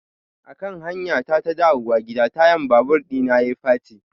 Akan hanyata ta dawowa gida tayan babur ɗina yayi faci.